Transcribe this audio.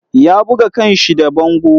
Ya buga kan shi da bango.